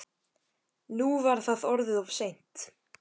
Nú var það orðið of seint.